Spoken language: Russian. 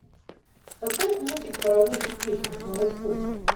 поставь мультик паровозик тишка снова в путь